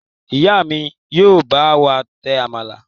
Ìyá mi yóò bá wà tẹ àmàlà.